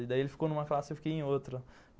Daí ele ficou numa classe e eu fiquei em outra.